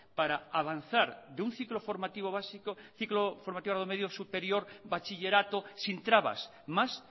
para avanzar de un ciclo formativo básico a un ciclo formativo de grado medio superior bachillerato sin trabas más